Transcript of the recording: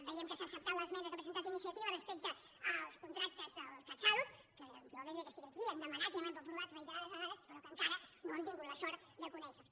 veiem que s’ha acceptat l’esmena que ha presentat iniciativa respecte als contractes del catsalut que jo des que estic aquí ho hem demanat i ho hem aprovat reiterades vegades però que encara no hem tingut la sort de conèixer ho